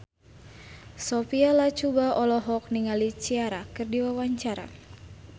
Sophia Latjuba olohok ningali Ciara keur diwawancara